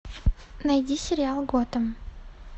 найди сериал готэм